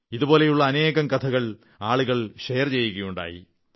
ഇതുപോലുള്ള അനേകം കഥകൾ ആളുകൾ ഷെയർ ചെയ്യുകയുണ്ടായി